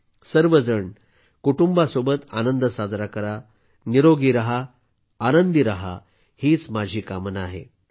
तुम्ही सर्वजण तुमच्या कुटुंबासोबत आनंद साजरा करा निरोगी राहा आनंदी राहा हीच माझी कामना आहे